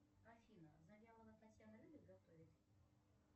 афина завьялова татьяна любит готовить